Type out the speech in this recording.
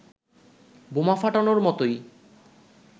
বোমা ফাটানোর মতোই